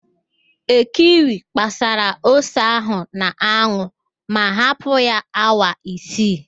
Ekwi gbasara ose ahụ n'anwụ ma hapụ ya awa isii